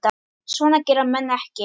Svona gera menn ekki